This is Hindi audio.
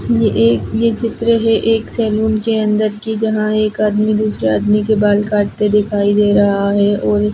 ये एक ये चित्र है एक सलून के अंदर की जहाँ एक आदमी दूसारे आदमी के बाल काटते दिखाई दे रहा है और--